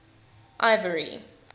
ivory